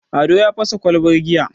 ado ya fasa kwalbar giya